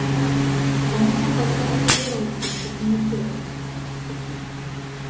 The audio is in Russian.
кому же тогда апеллировать после комитета